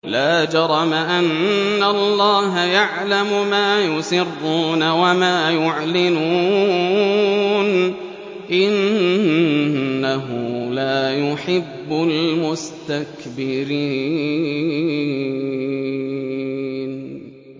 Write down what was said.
لَا جَرَمَ أَنَّ اللَّهَ يَعْلَمُ مَا يُسِرُّونَ وَمَا يُعْلِنُونَ ۚ إِنَّهُ لَا يُحِبُّ الْمُسْتَكْبِرِينَ